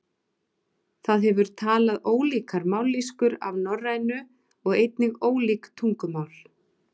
Það hefur talað ólíkar mállýskur af norrænu og einnig ólík tungumál.